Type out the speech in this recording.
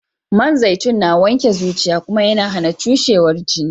Man zaitun na wanke zuciya Kuma YAna HAna cushewar jini